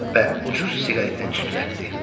Və ucuz siqaretini tüstürətdi.